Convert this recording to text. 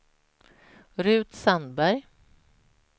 Ruth Sandberg